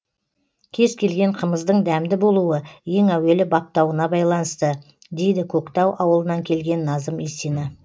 кез келген қымыздың дәмді болуы ең әуелі баптауына байланысты дейді көктау ауылынан келген назым исина